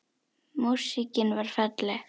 Músíkin varð falleg.